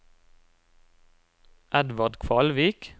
Edvard Kvalvik